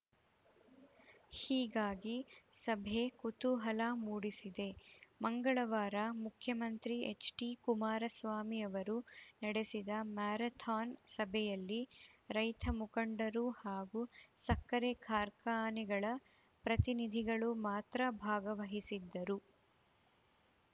ಹೀಗಾಗಿ ಸಭೆ ಕುತೂಹಲ ಮೂಡಿಸಿದೆ ಮಂಗಳವಾರ ಮುಖ್ಯಮಂತ್ರಿ ಎಚ್‌ಡಿ ಕುಮಾರಸ್ವಾಮಿ ಅವರು ನಡೆಸಿದ ಮ್ಯಾರಥಾನ್‌ ಸಭೆಯಲ್ಲಿ ರೈತ ಮುಖಂಡರು ಹಾಗೂ ಸಕ್ಕರೆ ಕಾರ್ಖಾನೆಗಳ ಪ್ರತಿನಿಧಿಗಳು ಮಾತ್ರ ಭಾಗವಹಿಸಿದ್ದರು